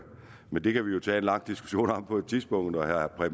men det kan vi jo tage en lang diskussion om på et tidspunkt og herre